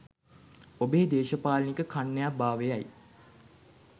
ඔබේ දේශපාලනික කන්‍යා භාවයයි.